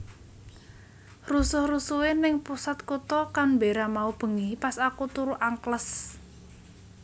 Rusuh rusuhe ning pusat kuto Canberra mau bengi pas aku turu angkles